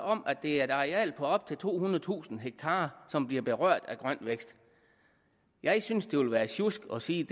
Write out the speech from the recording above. om at det er et areal på op til tohundredetusind ha som bliver berørt af grøn vækst jeg synes at det ville være sjusk at sige